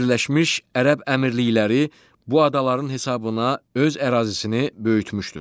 Birləşmiş Ərəb Əmirlikləri bu adaların hesabına öz ərazisini böyütmüşdür.